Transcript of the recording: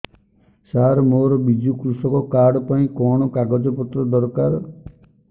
ସାର ମୋର ବିଜୁ କୃଷକ କାର୍ଡ ପାଇଁ କଣ କାଗଜ ପତ୍ର ଦରକାର